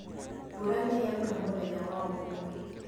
Mbura nĩyaura mũthenya wa ũmũthĩ